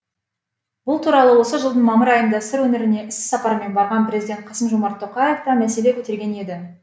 бұл туралы осы жылдың мамыр айында сыр өңіріне іс сапармен барған президент қасым жомарт тоқаев та мәселе көтерген еді